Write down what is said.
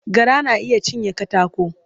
Gara na iya cinye katako.